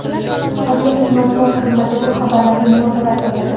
Hokimlik matbuot xizmati bu xabarlarga munosabat bildirdi .